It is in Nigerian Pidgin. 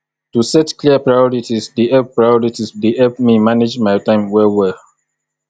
to set clear priorities dey help priorities dey help me manage my time well well